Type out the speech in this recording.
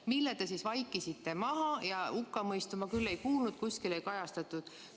Selle te vaikisite maha ja hukkamõistu ma küll ei kuulnud, seda kuskil ei kajastatud.